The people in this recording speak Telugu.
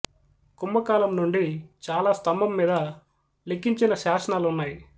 కుంభ కాలం నుండి చాలా స్తంభం మీద లిఖించిన శాసనాలు ఉన్నాయి